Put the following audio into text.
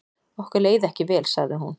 Okkur leið ekki vel sagði hún.